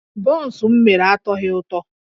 Bọns m mere atọghị ụtọ